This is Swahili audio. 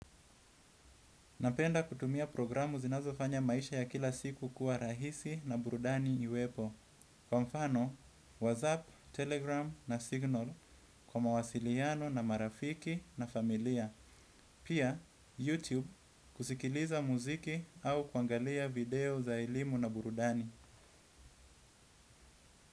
Napenda kutumia programu zinazofanya maisha ya kila siku kuwa rahisi na burudani iwepo. Kwa mfano, WhatsApp, Telegram na Signal kwa mawasiliano na marafiki na familia. Pia, YouTube kusikiliza muziki au kuangalia video za elimu na burudani.